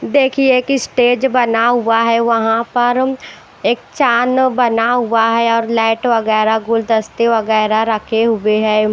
देखिए की स्टेज बना हुआ है वहां पर एक चान बना हुआ है और लाइट वगैरा गुलदस्ते वगैरा रखे हुए हैं।